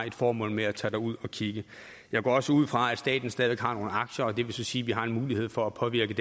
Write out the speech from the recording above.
et formål med at tage derud og kigge jeg går også ud fra at staten stadig har nogle aktier og det vil sige at vi har en mulighed for at påvirke